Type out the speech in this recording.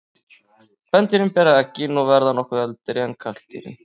Kvendýrin bera eggin og verða nokkuð eldri en karldýrin.